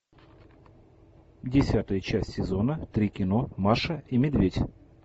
десятая часть сезона три кино маша и медведь